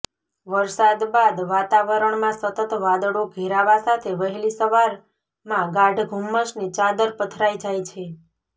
વરસાદ બાદ વાતાવરણમાં સતત વાદળો ઘેરાવા સાથે વહેલી સવારમાં ગાઢ ધુમ્મસની ચાદર પથરાય જાય છે